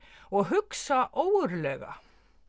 og hugsa ógurlega